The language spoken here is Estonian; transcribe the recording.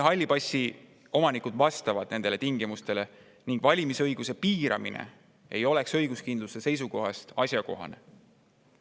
Halli passi omanikud vastavad nendele tingimustele ning valimisõiguse piiramine ei oleks õiguskindluse seisukohast asjakohane.